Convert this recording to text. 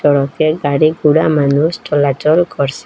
রকে গাড়ি ঘুড়া মানুষ চলাচল করসে।